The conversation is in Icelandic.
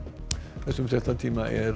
þessum fréttatíma er